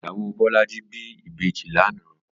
Ìyáwó Bolaji bi ibéji lànã